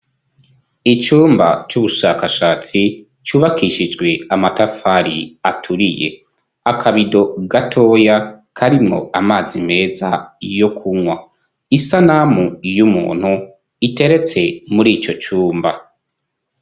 Icumba c'ubushakashatsi cubakishijwe amatafari aturiye, akabido gatoya karimwo amazi meza yo kunywa, isanamu y'umuntu iteretse mur'icocumba.